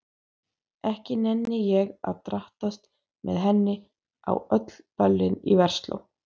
Ekki nenni ég að drattast með henni á öll böllin í Versló.